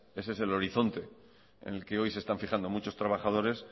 ese es el horizonte en el que hoy se están fijando muchos trabajadores